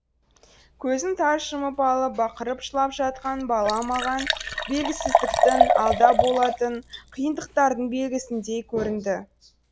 көзін тарс жұмып алып бақырып жылап жатқан бала маған белгісіздіктің алда болатын қиындықтардың белгісіндей көрінді